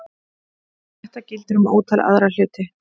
Þetta gildir um ótal aðra hluti.